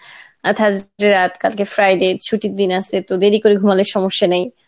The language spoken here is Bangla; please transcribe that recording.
কালকে Friday ছুটির দিন আসে তো দেরি করে ঘুমালে সমস্যা নেই